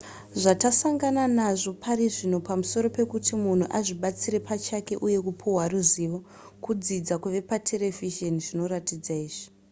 zvatasangana nazvo parizvino pamusoro pekuti munhu azvibatsire pachake uye kupihwa ruzivo kudzidza kubva paterevhizheni zvinoratidza izvi